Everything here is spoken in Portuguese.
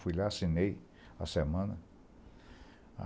Fui lá, assinei a semana.